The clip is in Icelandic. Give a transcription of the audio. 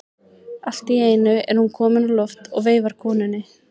Allt í einu er hún komin á loft og veifar konunni.